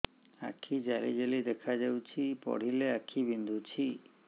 ଆଖି ଜାଲି ଜାଲି ଦେଖାଯାଉଛି ପଢିଲେ ଆଖି ବିନ୍ଧୁଛି